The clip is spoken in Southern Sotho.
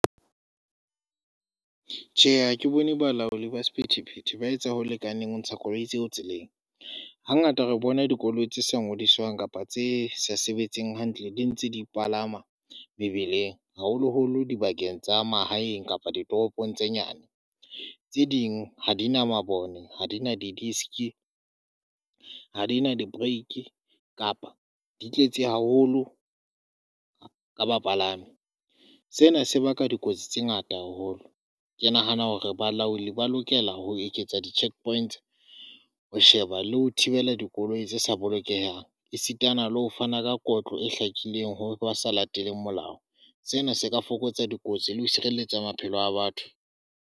Tjhe, ha ke bone balaodi ba sephethephethe ba etsa ho lekaneng ho ntsha koloi tseo tseleng. Hangata re bona dikoloi tse sa ngodiswang kapa tse sa sebetseng hantle di ntse di palama mebileng haholoholo dibakeng tsa mahaeng kapa ditoropong tse nyane. Tse ding ha di na mabone ha di na di disk, ha di na di break kapa di tletse haholo ka bapalami, sena se baka dikotsi tse ngata haholo. Ke nahana hore balaodi ba lokela ho eketsa di cheque points, ho sheba le ho thibela dikoloi tse sa bolokehang esitana le ho fana ka kotlo e hlakileng ha ba sa latele molao. Sena se ka fokotsa dikotsi le ho sireletsa maphelo a batho.